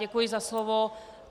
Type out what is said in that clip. Děkuji za slovo.